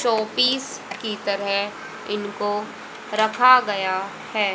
चौपीश की तरह इनको रखा गया है।